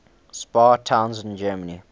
spa towns in germany